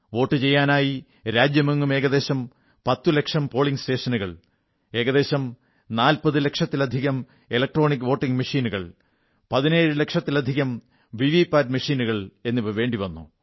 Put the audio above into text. വോട്ടു ചെയ്യാനായി രാജ്യമെങ്ങും ഏകദേശം 10 ലക്ഷം പോളിംഗ് സ്റ്റേഷനുകൾ ഏകദേശം 40 ലക്ഷത്തിലധികം ഇലക്ട്രോണിക് വോട്ടിംഗ് മെഷീനുകൾ 17 ലക്ഷത്തിലധികം വിവിപാറ്റ് യന്ത്രങ്ങൾ വേണ്ടി വന്നു